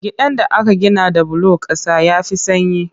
Gidan da aka gina da bulon ƙasa ya fi sanyi